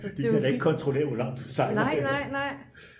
de kan da ikke kontrollere hvor lang tid den sejler